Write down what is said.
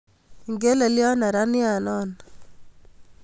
Igelelyot neraniat non